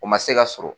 O ma se ka sɔrɔ